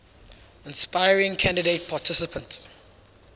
inspiring candidate participants